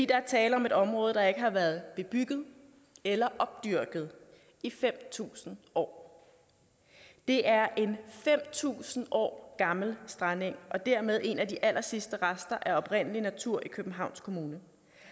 der er tale om et område der ikke har været bebygget eller opdyrket i fem tusind år det er en fem tusind år gammel strandeng og dermed en af de allersidste rester af oprindelig natur i københavns kommune